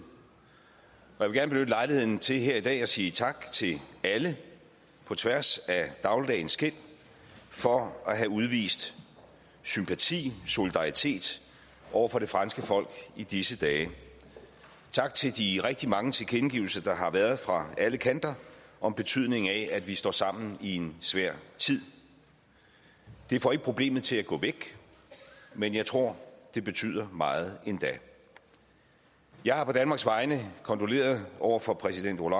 jeg vil gerne benytte lejligheden til her i dag at sige tak til alle på tværs af dagligdagens skel for at have udvist sympati og solidaritet over for det franske folk i disse dage tak til de rigtig mange tilkendegivelser der har været fra alle kanter om betydningen af at vi står sammen i en svær tid det får ikke problemet til at gå væk men jeg tror det betyder meget endda jeg har på danmarks vegne kondoleret over for præsident